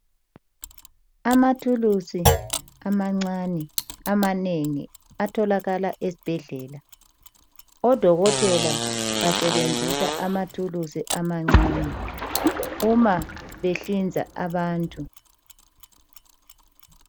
Amathuluzi amancane amanengi atholakala ezibhedlela odokotela besebenzisa amathulusi amancane uma behlinza abantu.